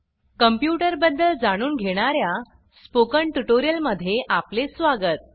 computer बदद्ल जाणून घेणार्या स्पोकन ट्यूटोरियल मध्ये आपले स्वागत